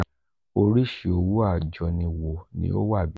orisi owo ajoni wo ni o wa bi?